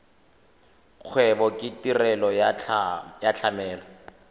kgwebo ke tirelo ya tlamelo